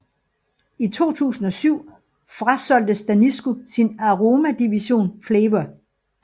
I 2007 frasolgte Danisco sin aromadivision Flavour